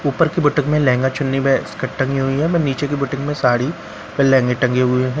ऊपर की बुटीक में लहंगा चुन्नी व स्कर्ट टंगी हुई है नीचे की बुटीक में साड़ी और लहंगे टंगे हुए हैं।